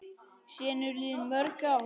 Síðan eru liðin mörg ár.